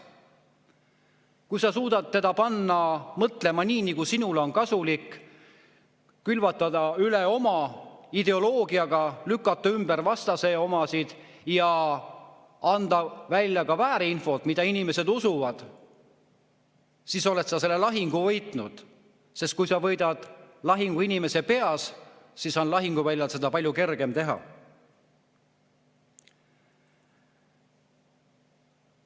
Kui sa suudad panna ta mõtlema nii, nagu sinule on kasulik, külvata ta üle oma ideoloogiaga, lükata ümber vastase oma ja anda ka väärinfot, mida inimesed usuvad, siis oled sa selle lahingu võitnud, sest kui sa võidad lahingu inimese peas, siis on lahinguväljal seda palju kergem teha.